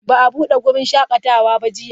Ba a bude wurin shakatawa ba jiya.